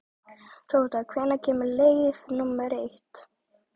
Tóta, hvenær kemur leið númer eitt?